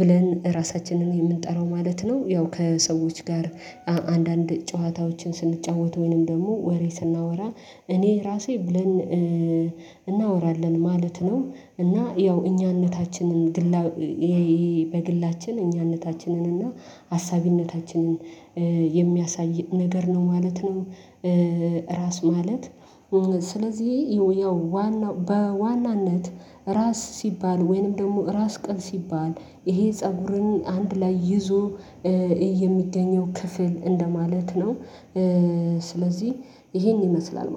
ብለን እራሳችንን እምንጠራው ማለት ነው ያው ከሰዎች ጋር አንዳንድ ጨዋታዎችን ስንጫወት ወይንም ደግሞ ወሬ ስናወራ እኔ ራሴ ብለን እናወራለን ማለት ነው። እና ያው እኛነታችንን በግላችን እኛነታችንን እና አሳቢነታችንን የሚያሳይ ነገር ነው ማለት ነው። ራስ ማለት ስለዚህ ያው በዋናነት ራስ ሲባል ወይንም ደግሞ ራስ ቅል ሲባል ይሄ ፀጉርን አንድ ላይ ይዞ የሚገኘው ክፍል እንደማለት ነው። ስለዚህ ይሄን ይመስላል